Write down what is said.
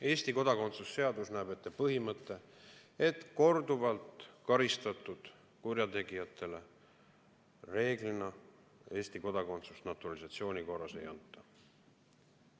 Eesti kodakondsuse seadus näeb ette põhimõtte, et korduvalt karistatud kurjategijatele reeglina Eesti kodakondsust naturalisatsiooni korras ei anta.